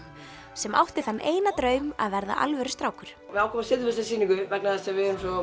sem átti þann eina draum að verða alvöru strákur við ákváðum að setja upp þessa sýningu vegna þess að við erum